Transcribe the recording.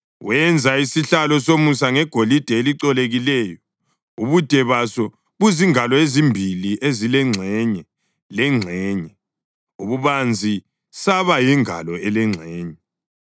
Wenza isihlalo somusa ngegolide elicolekileyo, ubude baso buzingalo ezimbili ezilengxenye lengxenye, ububanzi saba yingalo elengxenye.